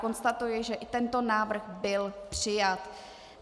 Konstatuji, že i tento návrh byl přijat.